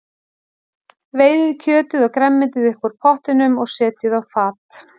Veiðið kjötið og grænmetið upp úr pottinum og setjið á fat.